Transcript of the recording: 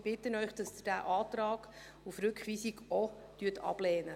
Ich bitte Sie, diesen Antrag auf Rückweisung auch abzulehnen.